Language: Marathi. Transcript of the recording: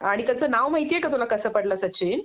आणि त्याच नाव माहिती आहे का तुला कस पडलं सचिन